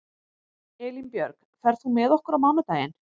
Elínbjörg, ferð þú með okkur á mánudaginn?